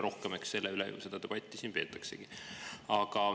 Eks selle üle seda debatti siin peetaksegi.